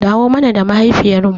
Dawo mana da mahaifiyar mu